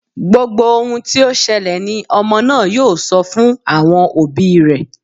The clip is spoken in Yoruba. Gbogbo ohun tí ó ṣẹlẹ̀ ni ọmọ náà yóò sọ fún àwọn òbí rẹ.